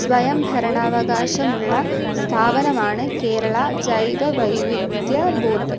സ്വയംഭരണാവകാശമുളള സ്ഥാപനമാണ് കേരള ജൈവവൈവിധ്യ ബോർഡ്.